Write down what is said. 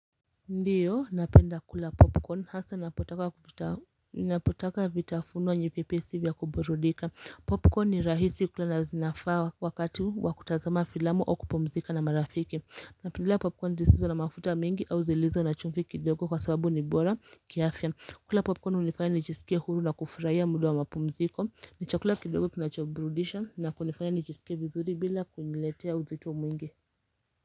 Ndiyo napenda kula popcorn hasa napotaka vitafunuwa nyepepesi vya kuburudika popcorn ni rahisi kula na zinafaa wakati wakutazama filamu au kupumzika na marafiki napendelea popcorn zisizo na mafuta mingi au zilizo na chumfi kidogo kwa sababu ni bora kiafya kula popcorn unifanya nijisikie huru na kufraya muda wa mapumziko ni chakula kidogo kinachoburudisha na kunifanya nijisike vizuri bila kuniletea uzito mwingi.